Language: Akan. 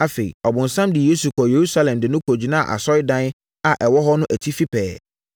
Afei, ɔbonsam de Yesu kɔɔ Yerusalem de no kɔgyinaa asɔredan a ɛwɔ hɔ no atifi pɛɛ,